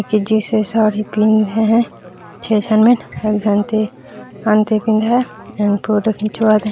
की जिस जैसा साड़ी पिन है छै झन में एक झन ठे और फोटो खिंचवात हैं।